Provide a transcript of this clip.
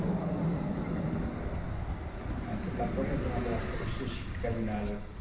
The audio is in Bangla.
আচ্ছা তারপরে তোমাদের আশেপাশের শীতকালীন আর